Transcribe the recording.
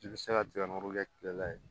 I bɛ se ka jɛgɛ nɔrɔ kɛ tile la yen